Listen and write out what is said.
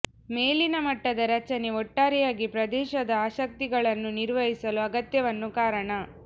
ಮೇಲಿನ ಮಟ್ಟದ ರಚನೆ ಒಟ್ಟಾರೆಯಾಗಿ ಪ್ರದೇಶದ ಆಸಕ್ತಿಗಳನ್ನು ನಿರ್ವಹಿಸಲು ಅಗತ್ಯವನ್ನು ಕಾರಣ